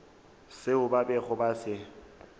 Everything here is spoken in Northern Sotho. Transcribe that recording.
seo ba bego ba se